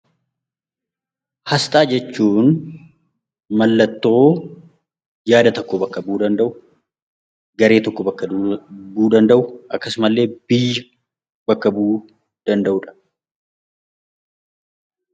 Asxaa jechuun mallattoo yaada tokko bakka bu'uu danda'u, garee tokko bakka bu'uu danda'u, akkasumas illee biyya bakka bu'uu danda'udha.